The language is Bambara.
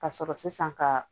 Ka sɔrɔ sisan ka